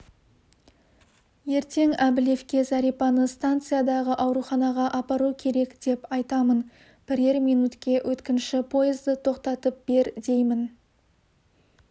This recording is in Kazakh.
ертең әбілевке зәрипаны станциядағы ауруханаға апару керек деп айтамын бірер минутке өткінші пойызды тоқтатып бер деймін